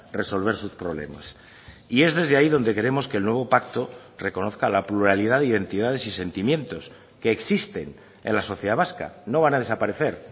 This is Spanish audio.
resolver sus problemas y es desde ahí donde queremos que el nuevo pacto reconozca la pluralidad y entidades y sentimientos que existen en la sociedad vasca no van a desaparecer